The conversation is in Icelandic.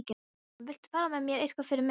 SÓLRÚN: Viltu fara með eitthvað fyrir mig.